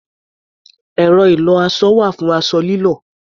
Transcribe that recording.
Ẹ̀rọ ìlọ-aṣọ wà fún aṣọ lílọ̀.